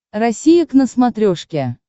россия к на смотрешке